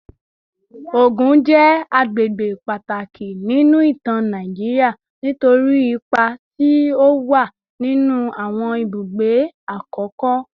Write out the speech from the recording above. Ogun je agbegbe pataki ninu itan Nigeria nitori ipa ti o wa ninu awon ibugbe akoko